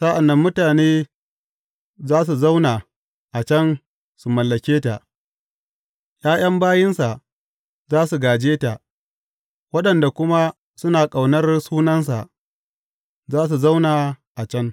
Sa’an nan mutane za su zauna a can su mallake ta, ’ya’yan bayinsa za su gāje ta, waɗanda kuma suna ƙaunar sunansa za su zauna a can.